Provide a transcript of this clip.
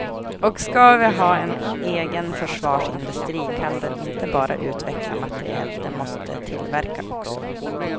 Och ska vi ha en egen försvarsindustri kan den inte bara utveckla materiel, den måste tillverka också.